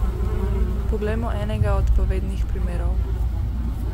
Poglejmo enega od povednih primerov.